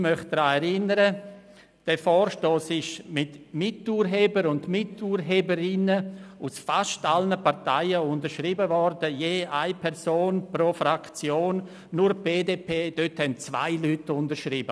Ich möchte daran erinnern, dass der Vorstoss von Miturhebern und Miturheberinnen aus fast allen Parteien unterschrieben wurde, je eine Person aus jeder Fraktion, ausser der BDP, dort haben zwei Personen unterschrieben.